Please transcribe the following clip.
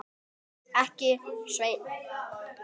Ekki, Sveinn.